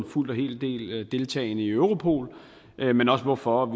fuldt og helt deltagende i europol men også for for at